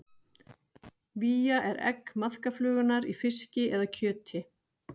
Vía er egg maðkaflugunnar í fiski eða kjöti.